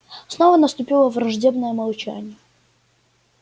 снова наступило враждебное молчание